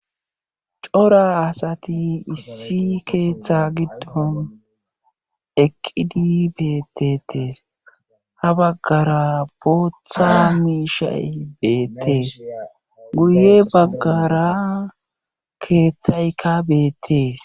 Cora asati issi keeththa giddon eqqidi beettetees ha baggara booththa miishshay beettees guye baggara keeththaykka beettees